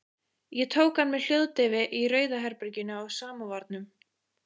Ég tók hann með hljóðdeyfi í Rauða herberginu á Samóvarnum.